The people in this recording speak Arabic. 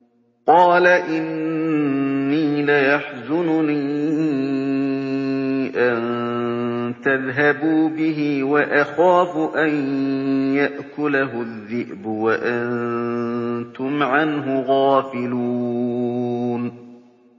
قَالَ إِنِّي لَيَحْزُنُنِي أَن تَذْهَبُوا بِهِ وَأَخَافُ أَن يَأْكُلَهُ الذِّئْبُ وَأَنتُمْ عَنْهُ غَافِلُونَ